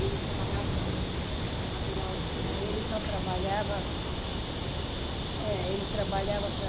E eles trabalhavam com... tinha material... Eles só trabalhavam... é Ele trabalhavam para...